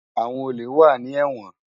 Awòn ólé wà ni èwòn